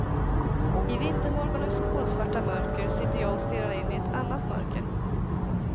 I vintermorgonens kolsvarta mörker sitter jag och stirrar in i ett annat mörker.